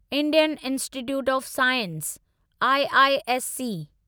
Indian institute of science IISc